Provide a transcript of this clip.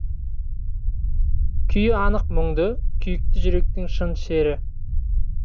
күйі анық мұңды күйікті жүректің шын шері